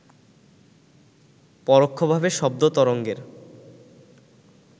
পরোক্ষভাবে শব্দ তরঙ্গের